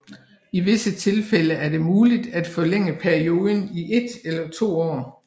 I visse tilfælde er det muligt at forlænge perioden i et eller to år